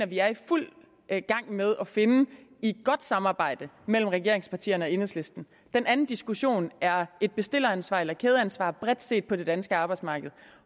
vi er i fuld gang med at finde i et godt samarbejde mellem regeringspartierne og enhedslisten den anden diskussion er et bestilleransvar eller kædeansvar bredt set på det danske arbejdsmarked